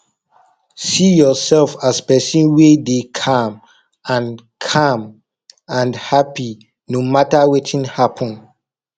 see urself as pesin wey dey calm and calm and hapi no mata wetin happen